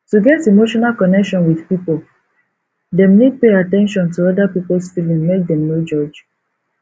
to get emotional connection with pipo dem need pay at ten tion to oda pipos feeeling make dem no judge